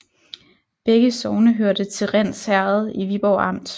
Begge sogne hørte til Rinds Herred i Viborg Amt